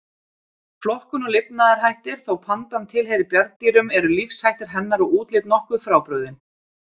Flokkun og lifnaðarhættir Þó pandan tilheyri bjarndýrum eru lífshættir hennar og útlit nokkuð frábrugðin.